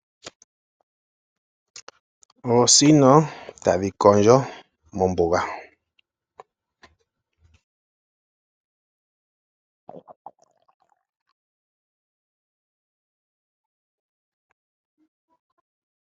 Oosino tadhi kondjo mombuga.